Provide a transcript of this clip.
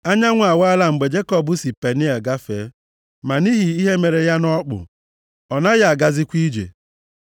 Anyanwụ awaala mgbe Jekọb si Peniel gafee. Ma nʼihi ihe mere ya nʼọkpụ, ọ naghị agazikwa ije.